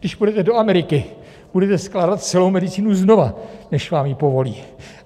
Když pojedete do Ameriky, budete skládat celou medicínu znova, než vám ji povolí.